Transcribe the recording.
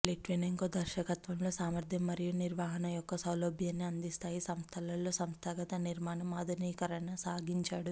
Litvinenko దర్శకత్వంలో సామర్థ్యం మరియు నిర్వహణ యొక్క సౌలభ్యాన్ని అందిస్తాయి సంస్థలలో సంస్థాగత నిర్మాణం ఆధునికీకరణ సాగించాడు